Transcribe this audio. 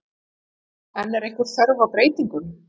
En er einhver þörf á breytingum?